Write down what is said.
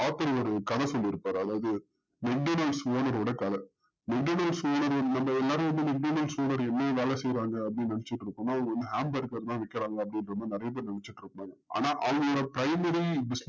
அதாவது கத வேல செய்வாங்கன்னு நெனச்சிட்டு இருக்கோம்னா அவங்க தான் விக்கிறாங்க அப்டின்றதா நறைய பேர் நெனச்சிட்டு இருக்கோம் ஆனா அவங்க